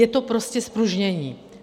Je to prostě zpružnění.